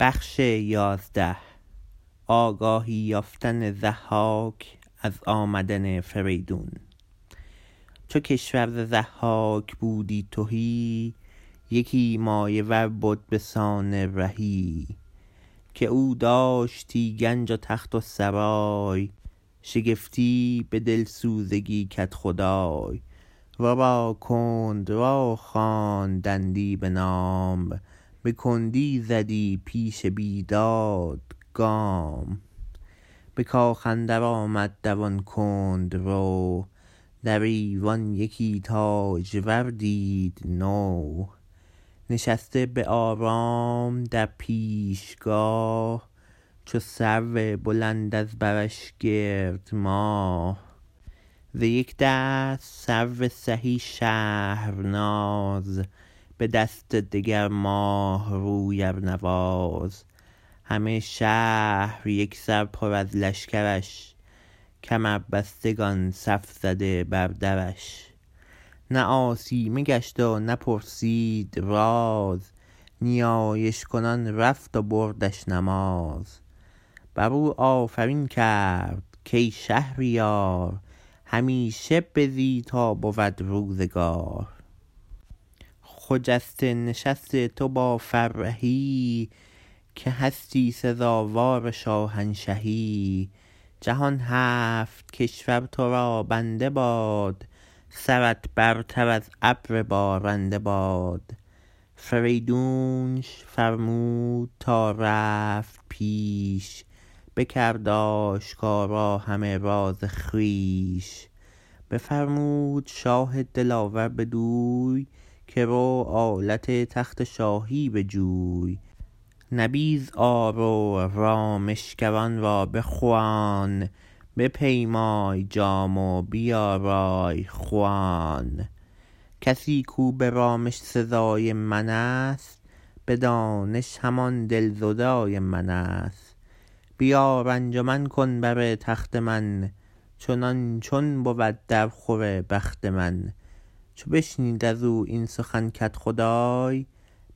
چو کشور ز ضحاک بودی تهی یکی مایه ور بد به سان رهی که او داشتی گنج و تخت و سرای شگفتی به دلسوزگی کدخدای ورا کندرو خواندندی بنام به کندی زدی پیش بیداد گام به کاخ اندر آمد دوان کندرو در ایوان یکی تاجور دید نو نشسته به آرام در پیشگاه چو سرو بلند از برش گرد ماه ز یک دست سرو سهی شهرناز به دست دگر ماه روی ارنواز همه شهر یک سر پر از لشکرش کمربستگان صف زده بر درش نه آسیمه گشت و نه پرسید راز نیایش کنان رفت و بردش نماز بر او آفرین کرد کای شهریار همیشه بزی تا بود روزگار خجسته نشست تو با فرهی که هستی سزاوار شاهنشهی جهان هفت کشور تو را بنده باد سرت برتر از ابر بارنده باد فریدونش فرمود تا رفت پیش بکرد آشکارا همه راز خویش بفرمود شاه دلاور بدوی که رو آلت تخت شاهی بجوی نبیذ آر و رامشگران را بخوان بپیمای جام و بیارای خوان کسی کاو به رامش سزای من است به دانش همان دلزدای من است بیار انجمن کن بر تخت من چنان چون بود در خور بخت من چو بشنید از او این سخن کدخدای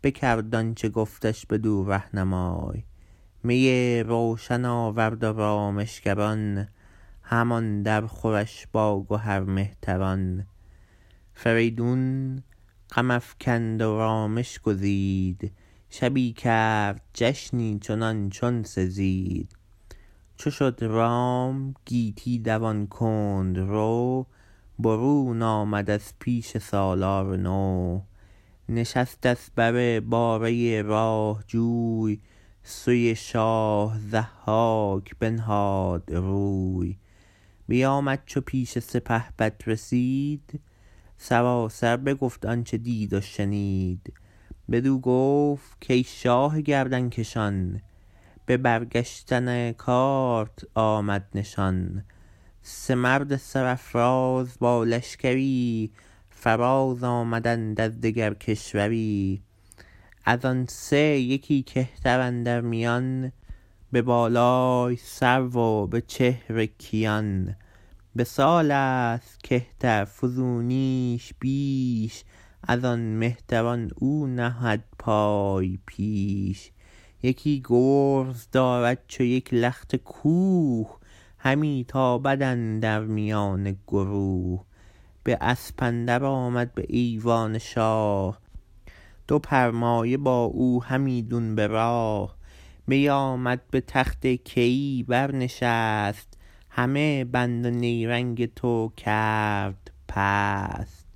بکرد آنچه گفتش بدو رهنمای می روشن آورد و رامشگران همان در خورش با گهر مهتران فریدون غم افکند و رامش گزید شبی کرد جشنی چنان چون سزید چو شد رام گیتی دوان کندرو برون آمد از پیش سالار نو نشست از بر باره راه جوی سوی شاه ضحاک بنهاد روی بیآمد چو پیش سپهبد رسید سراسر بگفت آنچه دید و شنید بدو گفت کای شاه گردنکشان به برگشتن کارت آمد نشان سه مرد سرافراز با لشکری فراز آمدند از دگر کشوری از آن سه یکی کهتر اندر میان به بالای سرو و به چهر کیان به سال است کهتر فزونیش بیش از آن مهتران او نهد پای پیش یکی گرز دارد چو یک لخت کوه همی تابد اندر میان گروه به اسپ اندر آمد به ایوان شاه دو پرمایه با او همیدون براه بیآمد به تخت کیی بر نشست همه بند و نیرنگ تو کرد پست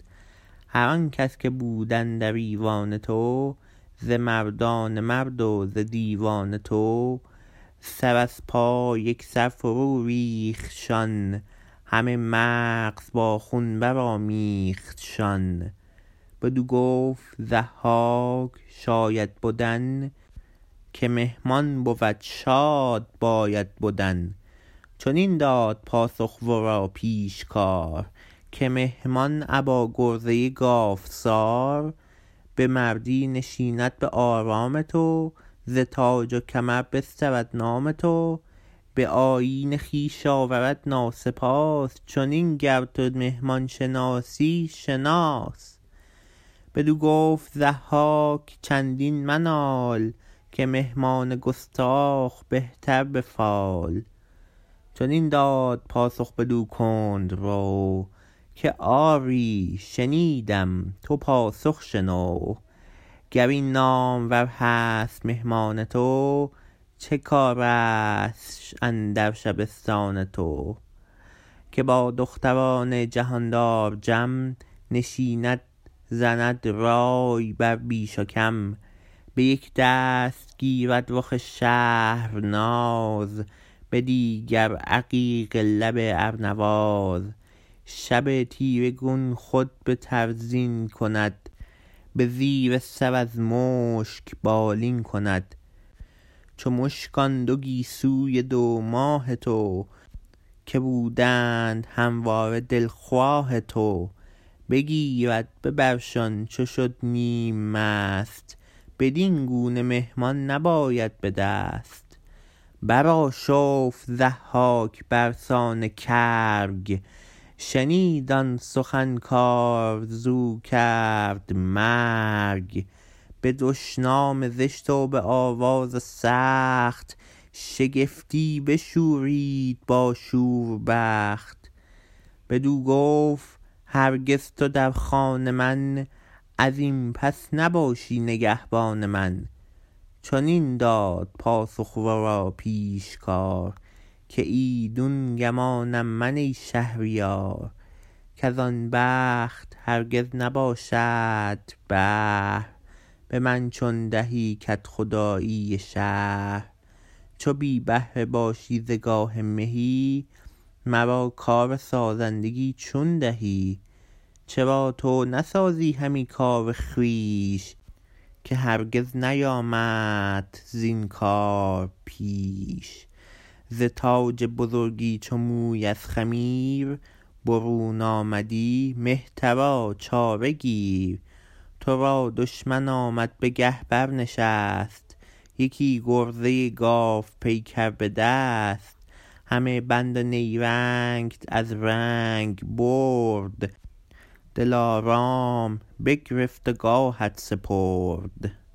هر آن کس که بود اندر ایوان تو ز مردان مرد و ز دیوان تو سر از پای یک سر فرو ریختشان همه مغز با خون برآمیختشان بدو گفت ضحاک شاید بدن که مهمان بود شاد باید بدن چنین داد پاسخ ورا پیشکار که مهمان ابا گرزه گاوسار به مردی نشیند به آرام تو ز تاج و کمر بسترد نام تو به آیین خویش آورد ناسپاس چنین گر تو مهمان شناسی شناس بدو گفت ضحاک چندین منال که مهمان گستاخ بهتر به فال چنین داد پاسخ بدو کندرو که آری شنیدم تو پاسخ شنو گر این نامور هست مهمان تو چه کارستش اندر شبستان تو که با دختران جهاندار جم نشیند زند رای بر بیش و کم به یک دست گیرد رخ شهرناز به دیگر عقیق لب ارنواز شب تیره گون خود بتر زین کند به زیر سر از مشک بالین کند چو مشک آن دو گیسوی دو ماه تو که بودند همواره دلخواه تو بگیرد به برشان چو شد نیم مست بدین گونه مهمان نباید به دست برآشفت ضحاک برسان کرگ شنید آن سخن کآرزو کرد مرگ به دشنام زشت و به آواز سخت شگفتی بشورید با شور بخت بدو گفت هرگز تو در خان من از این پس نباشی نگهبان من چنین داد پاسخ ورا پیشکار که ایدون گمانم من ای شهریار کز آن بخت هرگز نباشدت بهر به من چون دهی کدخدایی شهر چو بی بهره باشی ز گاه مهی مرا کارسازندگی چون دهی چرا تو نسازی همی کار خویش که هرگز نیامدت از این کار پیش ز تاج بزرگی چو موی از خمیر برون آمدی مهترا چاره گیر تو را دشمن آمد به گه برنشست یکی گرزه گاوپیکر به دست همه بند و نیرنگت از رنگ برد دلارام بگرفت و گاهت سپرد